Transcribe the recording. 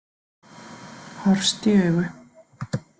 Horfst í augu.